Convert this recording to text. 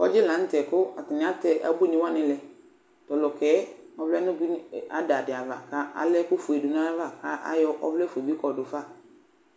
Kɔdzɩ la nʋ tɛ kʋ atanɩ atɛ ebuinɩ wanɩ lɛ Tʋ ɔlʋka yɛ ɔvlɛ nʋ ebuinɩ ada dɩ ava kʋ ala ɛkʋfue dɩ dʋ nʋ ayava kʋ ayɔ ɔvlɛfue bɩ kɔdʋ fa